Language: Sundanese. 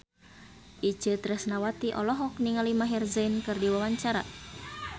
Itje Tresnawati olohok ningali Maher Zein keur diwawancara